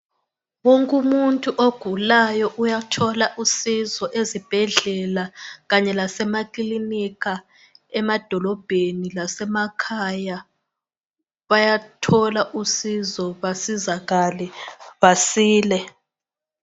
Wonke umuntu ogulayo uyathola usizo ezibhedlela kanye lase maclinika emadolobheni lasemakhaya, bayathola usizo basizakale basile.